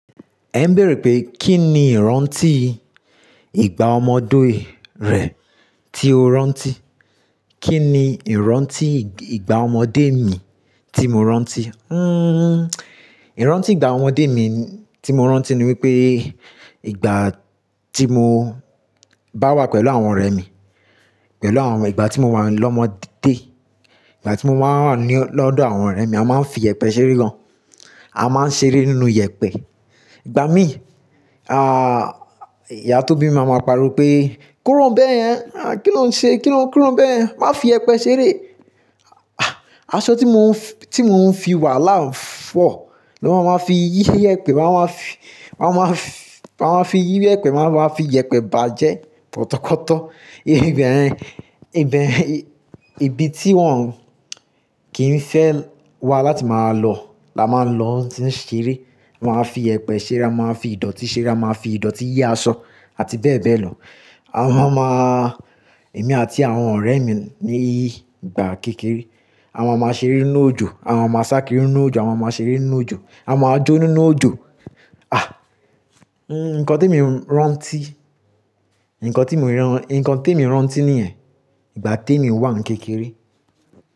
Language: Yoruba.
Ẹ ń bèèrè pé kí ni ìrántí ìgbà ọmọdé rẹ tí o rántí? Kí ni ìrántí ìgbà ọmọdé mi tí mo rántí? Hmm, ìrántí ìgbà ọmọdé mi tí mo rántí ni wípé ìgbà tí mo bá wà pẹ̀lú àwọn ọ̀rẹ́ mi, pẹ̀lú àwọn ìgbà tí mo wà lọ́mọdé, ìgbà tí mo máa ń wà ní ọ́ lọ́dọ̀ àwọn ọ̀rẹ́ mi a máa ń fi yẹpẹ́ ṣeré gan. A máa ń ṣeré nínú yẹpẹ́. Ìgbà mí, à, ìyá tobi mi maa máa pariwo pé "kúrò bẹ́ẹ̀ yẹn, à, kí ló ń ṣe? Kí ló, kí ló ń bẹ́ẹ̀ yẹn? Má fi yẹpẹ́ ṣeré." Aṣọ tí mo ń, tí mò ń fi wà láà nfọ̀ ló máa máa fi yí yẹpẹ́, máa máa fi, máa máa fi, máa máa fi yí yẹpẹ́, máa máa fi yẹpẹ́ bàjẹ́ tọkọ̀tọkọ̀. Ígbà ẹ́n, ìbẹ, ibi tí wọ́n kì í fẹ́ wà láti máa lọ la máa ń lọ tí ń ṣeré. Wọ́n á fi yẹpẹ́ ṣeré, a máa fi ìdọ̀tí ṣeré, a máa fi ìdọ̀tí yí aṣọ àti bẹ́ẹ̀ bẹ́ẹ̀ lọ. A máa máa, èmi àti àwọn ọ̀rẹ́ mi ní ìgbà kékeré a máa máa ṣeré nínú òjò, a máa máa sá kiri nínú òjò, a máa máa ṣeré nínú òjò, a máa jó nínú òjò. Àh! Nǹkan tí e mo rántí, nǹkan tí mo rán, nǹkan tí mo rántí nìyẹn, ìgbà tí èmi wà ní kékeré.